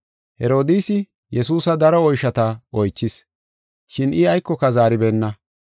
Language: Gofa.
Herodiisi Yesuusa daro oyshota oychis, shin I aykoka zaaribeenna.